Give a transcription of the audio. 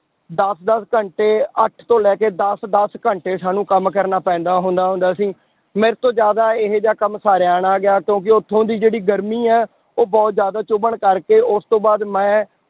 ਦਸ ਦਸ ਘੰਟੇ ਅੱਠ ਤੋਂ ਲੈ ਕੇ ਦਸ ਦਸ ਘੰਟੇ ਸਾਨੂੰ ਕੰਮ ਕਰਨਾ ਪੈਂਦਾ ਹੁੰਦਾ ਹੁੰਦਾ ਸੀ, ਮੇਰੇ ਤੋਂ ਜ਼ਿਆਦਾ ਇਹ ਜਿਹਾ ਕੰਮ ਸਾਰਿਆ ਨਾ ਗਿਆ ਕਿਉਂਕਿ ਉੱਥੋਂ ਦੀ ਜਿਹੜੀ ਗਰਮੀ ਹੈ ਉਹ ਬਹੁਤ ਜ਼ਿਆਦਾ ਚੁੱਭਣ ਕਰਕੇ ਉਸ ਤੋਂ ਬਾਅਦ ਮੈਂ